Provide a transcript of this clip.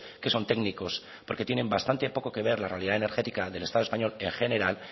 que son técnicos porque tienen bastante poco que ver la realidad energética del estado español en general